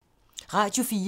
Radio 4